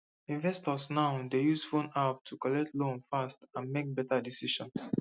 investors now dey use phone app to collect loan fast and make better decision